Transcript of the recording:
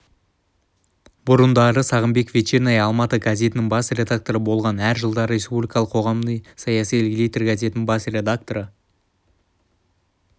бұрындары сағымбаеков вечерняя алматы газетінің бас редакторы болған әр жылдары республикалық қоғамдық-саяси литер газетінің бас редакторы